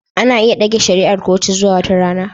Ana iya dage shari'ar kotu zuwa wata rana